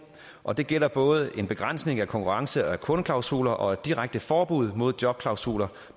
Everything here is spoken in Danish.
og det gælder både en begrænsning af konkurrence og kundeklausuler og et direkte forbud mod jobklausuler